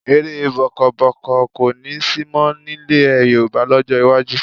Eré bọ́ọ́kọbọ́ọ̀kọ kò ní sí mọ́ nílẹ̀ Yorùbá lọ́jọ́ iwájú